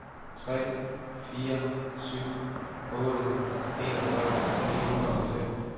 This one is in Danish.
tre fire syv otte enogfyrre ni hundrede og fem